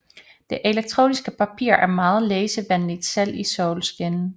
Det elektroniske papir er meget læsevenligt selv i solskin